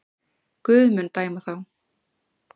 Guð mun dæma þá.